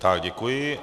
Tak děkuji.